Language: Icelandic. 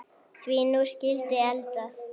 Því nú skyldi eldað.